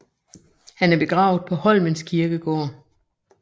Han er begravet på Holmens Kirkegård